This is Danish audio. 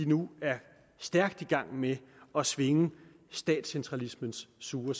nu er stærkt i gang med at svinge statscentralismens sure